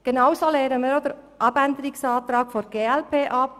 Genauso lehnen wir den Abänderungsantrag der glp ab.